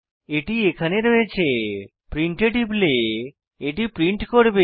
এটি এখানে রয়েছে প্রিন্ট এ টিপলে এটি প্রিন্ট করবে